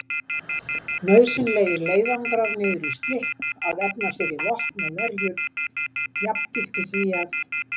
Nauðsynlegir leiðangrar niður í Slipp að efna sér í vopn og verjur jafngiltu því að